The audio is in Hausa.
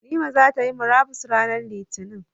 Nimmah zai ta Yi murabus ranar Litinin,